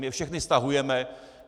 My je všechny stahujeme.